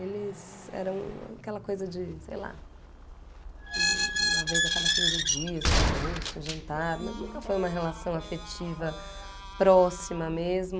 Eles eram aquela coisa de, sei lá, uma vez a cada quinze dias, um almoço, um jantar, mas nunca foi uma relação afetiva próxima mesmo.